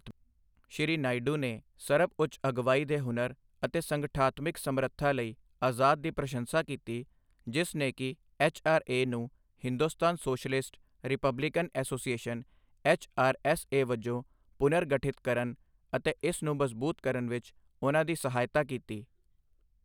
ਸ਼੍ਰੀ ਨਾਇਡੂ ਨੇ ਸਰਬਉੱਚ ਅਗਵਾਈ ਦੇ ਹੁਨਰ ਅਤੇ ਸੰਗਠਨਾਤਮਿਕ ਸਮਰੱਥਾ ਲਈ ਆਜ਼ਾਦ ਦੀ ਪ੍ਰਸ਼ੰਸਾ ਕੀਤੀ ਜਿਸ ਨੇ ਕਿ ਐੱਚ ਆਰ ਏ ਨੂੰ Hindustan socialist republican association H R S A ਵਜੋਂ ਪੁਨਰਗਠਿਤ ਕਰਨ ਅਤੇ ਇਸ ਨੂੰ ਮਜ਼ਬੂਤ ਕਰਨ ਵਿੱਚ ਉਨ੍ਹਾਂ ਦੀ ਸਹਾਇਤਾ ਕੀਤੀ।